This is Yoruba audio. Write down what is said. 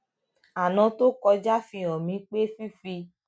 aná tó kọjá fi hàn mí pé fífi